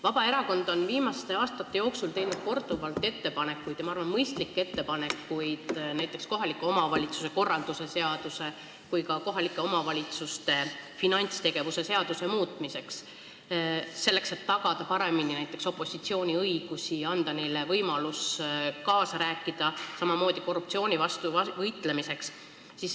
Vabaerakond on viimaste aastate jooksul teinud korduvalt ettepanekuid ja ma arvan, et mõistlikke ettepanekuid näiteks kohaliku omavalitsuse korralduse seaduse ja ka kohaliku omavalitsuse üksuse finantsjuhtimise seaduse muutmiseks, selleks et tagada paremini näiteks opositsiooni õigusi ja anda talle võimalus kaasa rääkida, samamoodi korruptsiooni vastu võidelda.